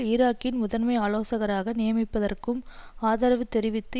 ஈராக்கில் முதன்மை ஆலோசகராக நியமிப்பதற்கும் ஆதரவு தெரிவித்து